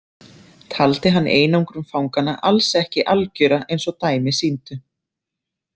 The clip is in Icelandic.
Taldi hann einangrun fanganna alls ekki algjöra eins og dæmi sýndu.